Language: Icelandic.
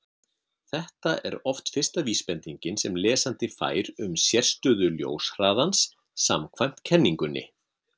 Þetta er oft fyrsta vísbendingin sem lesandi fær um sérstöðu ljóshraðans samkvæmt kenningunni.